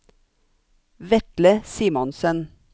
Vetle Simonsen